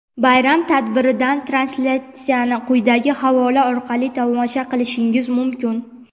Bayram tadbiridan translyatsiyani quyidagi havola orqali tomosha qilishingiz mumkin:.